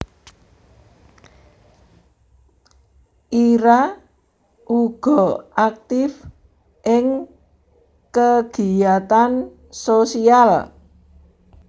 Ira uga aktif ing kagiyatan sosial